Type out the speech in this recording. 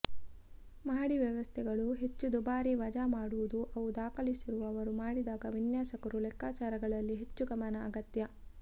ಮಹಡಿ ವ್ಯವಸ್ಥೆಗಳು ಹೆಚ್ಚು ದುಬಾರಿ ವಜಾ ಮಾಡುವುದು ಅವು ದಾಖಲಿಸಿದವರು ಮಾಡಿದಾಗ ವಿನ್ಯಾಸಕರು ಲೆಕ್ಕಾಚಾರಗಳಲ್ಲಿ ಹೆಚ್ಚು ಗಮನ ಅಗತ್ಯ